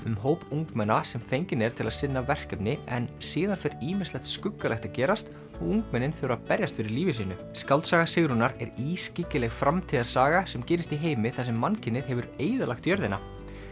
um hóp ungmenna sem fenginn er til að sinna verkefni en síðan fer ýmislegt skuggalegt að gerast og ungmennin þurfa að berjast fyrir lífi sínu skáldsaga Sigrúnar er ískyggileg framtíðarsaga sem gerist í heimi þar sem mannkynið hefur eyðilagt jörðina